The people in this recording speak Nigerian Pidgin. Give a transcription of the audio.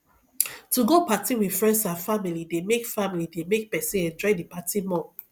to go party with friends and family de make family de make persin enjoy di party more